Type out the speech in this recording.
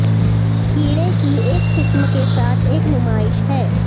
کیڑے کی ایک قسم کے ساتھ ایک نمائش ہے